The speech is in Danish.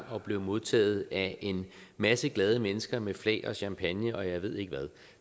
og blev modtaget af en masse glade mennesker med flag og champagne og jeg ved ikke hvad